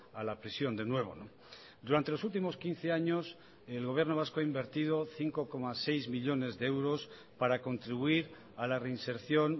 a la prisión de nuevo durante los últimos quince años el gobierno vasco ha invertido cinco coma seis millónes de euros para contribuir a la reinserción